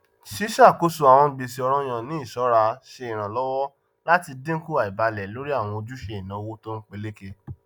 ṣíṣàkóso àwọn gbèsè ọrànyàn ní iṣọra ṣe iranlọwọ láti dínkù àìbálẹ lórí àwọn ojúṣe ináwó tónpeléke